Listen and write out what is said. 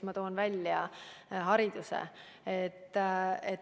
Ma toon näiteks hariduse.